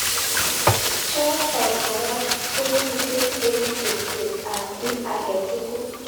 chotok kora komitei eng cherset ab ki age tugul.